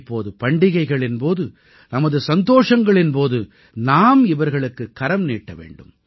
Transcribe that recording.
இப்போது பண்டிகைகளின் போது நமது சந்தோஷங்களின் போது நாம் இவர்களுக்குக் கரம்நீட்ட வேண்டும்